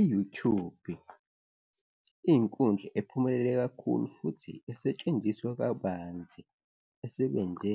I-YouTube-i iyinkundla ephumelele kakhulu futhi esetshenziswa kabanzi, esebenze